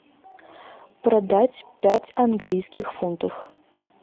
продать пять английских фунтов